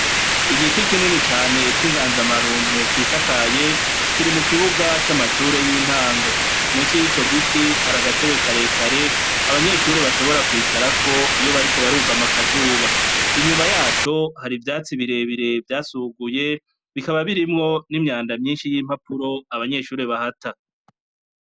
Igiti kinini cane kinganza marumbo cisakaye kiri mukibuga camashure yintango munsi yico giti hari agatebe karekare abanyeshure bashobora kwicarako iyo bariko barugama akazuba, inyuma yaco hariho ivyatsi birebire vyasuguye bikaba birimwo nimyanda myinshi yimpapuro abanyeshure bahata.